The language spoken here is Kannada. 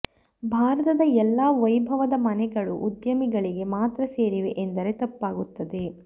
ಭಾರತದ ಎಲ್ಲಾ ವೈಭವದ ಮನೆಗಳು ಉದ್ಯಮಿಗಳಿಗೆ ಮಾತ್ರ ಸೇರಿವೆ ಎಂದರೆ ತಪ್ಪಾಗುತ್ತದೆ